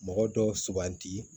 Mɔgɔ dɔw suganti